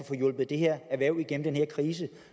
få hjulpet det her erhverv igennem den her krise